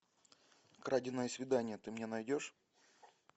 краденое свидание ты мне найдешь